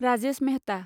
Rajesh Mehta